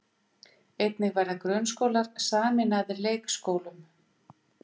Einnig verða grunnskólar sameinaðir leikskólum